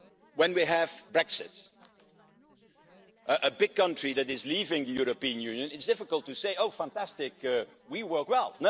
When we have Brexit, a big country that is leaving the European Union, it's difficult to say, Oh, fantastic, we work well'.